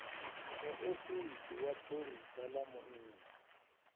muofisi wa pholisa ḽa munna